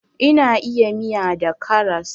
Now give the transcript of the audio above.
Ina iya miya da karas